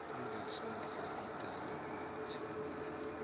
engasoze idale ukuthembana